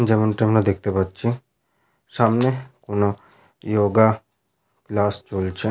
যেমনটি আমরা দেখতে পাচ্ছি সামনে কোনো যোগা ক্লাস চলছে।